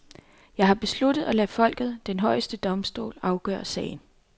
Jeg har besluttet at lade folket, den højeste domstol, afgøre sagen.